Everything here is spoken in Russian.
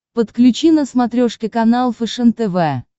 подключи на смотрешке канал фэшен тв